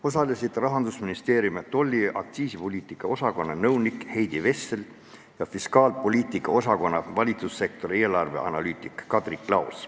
Osalesid Rahandusministeeriumi tolli- ja aktsiisipoliitika osakonna peaspetsialist Heidi Vessel ja fiskaalpoliitika osakonna valitsussektori eelarveanalüütik Kadri Klaos.